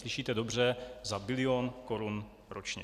Slyšíte dobře: za bilion korun ročně!